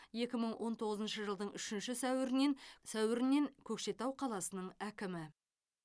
екі мың он тоғызыншы жылдың үшінші сәуірінен сәуірінен көкшетау қаласының әкімі